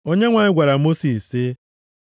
Onyenwe anyị gwara Mosis sị,